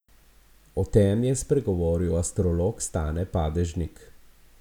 O tem je spregovoril astrolog Stane Padežnik.